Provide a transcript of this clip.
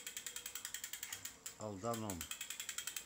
алданом